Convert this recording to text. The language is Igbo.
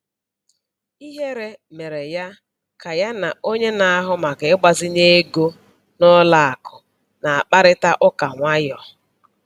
Ihere mere ya ka ya na onye na-ahụ maka ịgbazinye ego n'ụlọ akụ na-akparịta ụka nwayọọ.